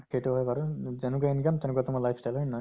সেইটো হয় বাৰু। যেনেকুৱা income তেনেকুৱা তোমাৰ life style. হয় নে নহয়?